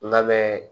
Labɛn